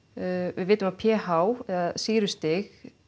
við vitum að p h eða sýrustig